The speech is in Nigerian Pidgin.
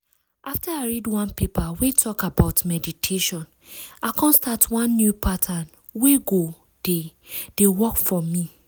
after i read one paper wey talk about meditation i come start one new pattern wey go dey dey work for me.